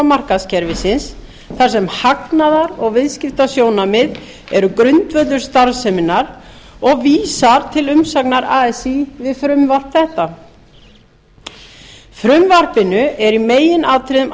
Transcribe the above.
markaðskerfisins þar sem hagnaðar og viðskiptasjónarmið eru grundvöllur starfseminnar og vísar til umsagnar así við frumvarp þetta frumvarpinu er í meginatriðum